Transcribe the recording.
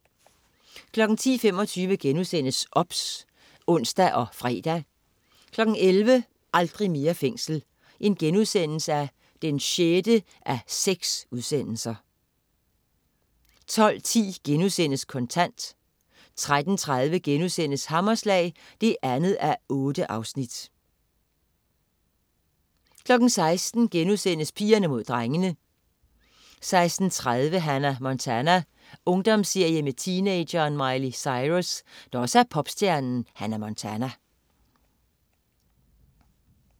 10.25 OBS* (ons og fre) 11.00 Aldrig mere fængsel 6:6* 12.10 Kontant* 13.30 Hammerslag 2:8* 16.00 Pigerne Mod Drengene* 16.30 Hannah Montana. Ungdomsserie om teenageren Miley Cyrus, der også er popstjernen Hannah Montana